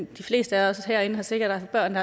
de fleste af os herinde har sikkert haft børn